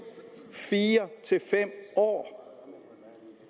fire fem år